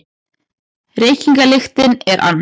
Reykingalyktin er ann